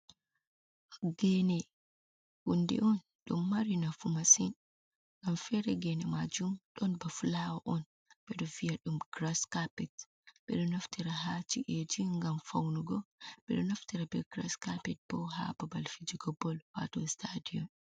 Gene hunde on ɗum mari nafu masin, ngam fere gene majum don ba fulawa on bedo viya ɗum grass carpet ɓeɗo naftira ha ci’eji, ngam faunugo ɓeɗo naftira be grass carpet bo ha babal fijugo bol wato stadium.